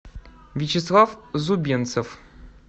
вячеслав зубенцев